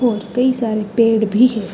और कई सारे पेड़ भी है।